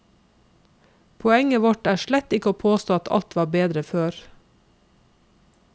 Poenget vårt er slett ikke å påstå at alt var bedre før.